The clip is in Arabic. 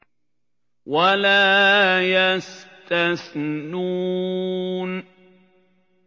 وَلَا يَسْتَثْنُونَ